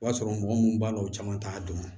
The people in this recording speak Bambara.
O b'a sɔrɔ mɔgɔ munnu b'a la u caman t'a dɔn